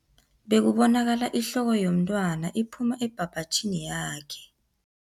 Bekubonakala ihloko yomntwana iphuma ebhabhatjhini yakhe.